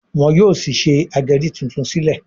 wón yóò sí ṣe ageri títún sílè.